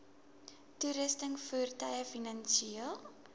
toerusting voertuie finansiële